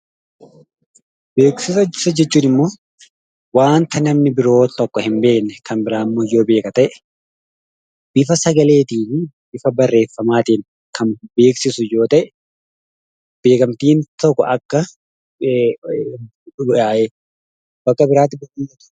Beeksisa jechuun waanta namni biroo tokko hin beekne bifa sagaleen yookiin barreeffamaan kan beeksisu yoo ta'e, beeksisa jennee waamuu dandeenya.